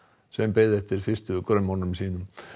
sem beið eftir fyrstu grömmunum sínum